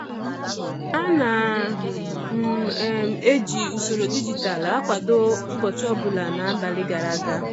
Ana m um eji usoro dijitalụ akwado ụbọchị ọbụla n'abalị gara aga.